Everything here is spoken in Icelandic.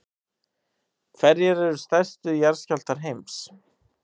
hverjir eru stærstu jarðskjálftar heims